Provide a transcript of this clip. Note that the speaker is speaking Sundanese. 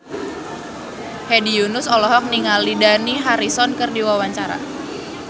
Hedi Yunus olohok ningali Dani Harrison keur diwawancara